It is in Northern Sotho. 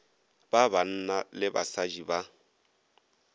ba banna le basadi ba